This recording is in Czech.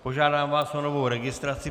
Požádám vás o novou registraci.